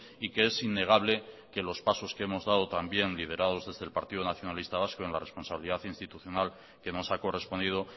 y que es innegable que los pasos que hemos dado también liderados desde el partido nacionalista vasco en la responsabilidad institucional que nos ha correspondido